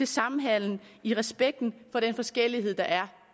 samhandelen i respekt for den forskellighed der er